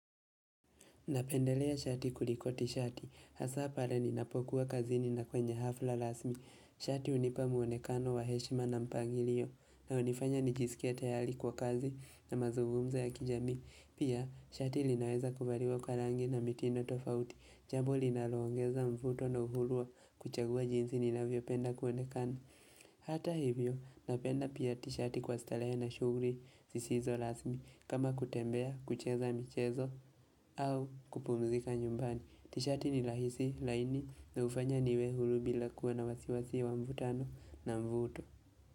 Napendelea shati kulikoti tishati. Hasa pale ninapokuwa kazini na kwenye hafla rasmi. Shati hunipa mwonekano wa heshima na mpangilio. Na hunifanya nijisikie tayari kwa kazi na mazugumzo ya kijamii. Pia, shati linaweza kuvaliwa kwa rangi na mitindo tofauti. Jambo linaloongeza mvuto na uhuru wa kuchagua jinsi ninavyopenda kuonekano. Hata hivyo napenda pia tishati kwa starehe na shughuli zisizo rasmi kama kutembea kucheza michezo au kupumzika nyumbani Tishati ni rahisi laini na hufanya niwe huru bila kuwa na wasiwasi wa mvutano na mvuto.